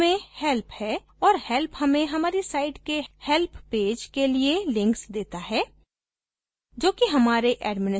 अंत में help है और help हमें हमारी site के help page के लिए links देता है